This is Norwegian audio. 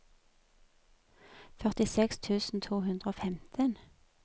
førtiseks tusen to hundre og femten